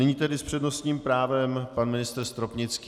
Nyní tedy s přednostním právem pan ministr Stropnický.